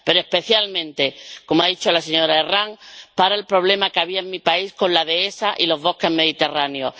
Pero especialmente —como ha dicho la señora Herranz— para el problema que había en mi país con la dehesa y los bosques mediterráneos.